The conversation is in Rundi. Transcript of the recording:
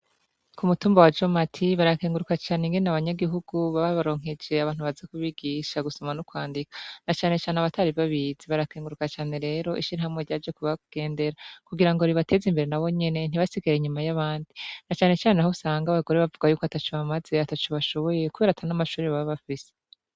Ku mutumba wa Jomati barakenguruka cane ingene abanyagihugu babaronkeje abantu baza kubigisha gusoma no kwandika na cane cane abatari babizi. Barakenguruka cane rero ishirahamwe ryaje kubagendera kugirango ibateze imbere nabo nyene ntibasigare inyuma y'abandi na cane cane aho usanga abagore bavuga yuko ataco bamaze ataco bashoboye kubera ata n'amashure baba bafise.